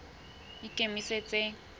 ikemetseng